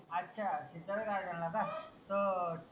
अच्छा सिद्धार्थ garden ला का? त